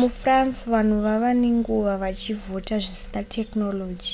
mufrance vanhu vava nenguva vachivhota zvisina technology